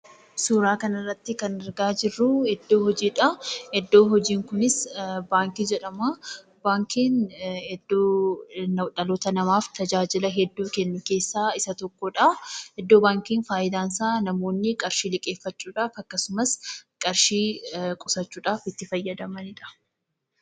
Suuraa kanarratti kan argaa jirru iddoo hojii dha. Iddoon hojii kunis baankii jedhama. Baankiin iddoo dhaloota namaaf tajaajila kennu keessaa isa tokko dha. Iddoo baankiin faayidaan isaa namoonni qarshii liqeeffachuu dhaaf akkasumas qarshii qusachuudhaaf itti fayyadamaniidha.